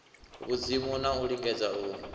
vhudzimu na u lingedza u